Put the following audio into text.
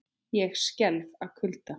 Ég skelf af kulda.